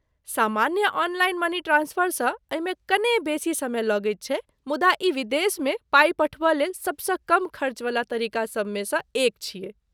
सामान्य online money transfer सँ एहिमे कने बेसी समय लगैत छै मुदा ई विदेशमे पाइ पठबय लेल सभसँ कम खर्चावला तरीकासभमे सँ एक छियै।